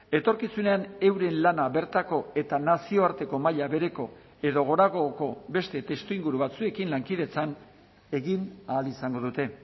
etorkizunean euren lana bertako eta nazioarteko maila bereko edo goragoko beste testuinguru batzuekin lankidetzan egin ahal izango dute